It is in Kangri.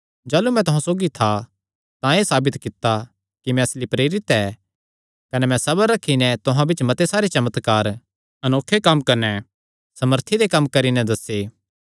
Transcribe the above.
जाह़लू मैं तुहां सौगी था तां एह़ साबित कित्ता कि मैं असली प्रेरित ऐ कने मैं सबर रखी नैं तुहां बिच्च मते सारे चमत्कार अनोखे कम्म कने सामर्थी दे कम्म करी नैं दस्से